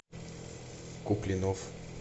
куплинов